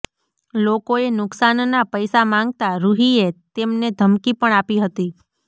લોકોએ નુકસાનનાં પૈસા માંગતા રૂહીએ તેમને ધમકી પણ આપી હતી